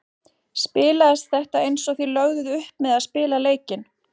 Spilaðist þetta eins og þið lögðuð upp með að spila leikinn?